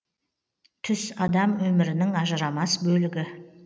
түс адам өмірінің ажырамас бөлігі